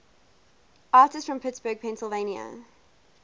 artists from pittsburgh pennsylvania